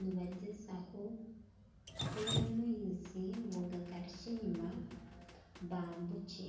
nibagyezaho kuteera amaizi ngu gagarukye enyima ngu baambukye